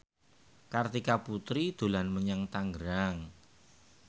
Kartika Putri dolan menyang Tangerang